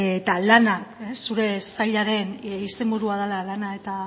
eta lana zure sailaren izenburua dela lana eta